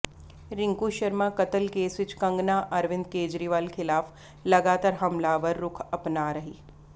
ਰਿੰਕੂ ਸ਼ਰਮਾ ਕਤਲ ਕੇਸ ਵਿੱਚ ਕੰਗਣਾ ਅਰਵਿੰਦ ਕੇਜਰੀਵਾਲ ਖਿਲਾਫ ਲਗਾਤਾਰ ਹਮਲਾਵਰ ਰੁਖ ਅਪਣਾ ਰਹੀ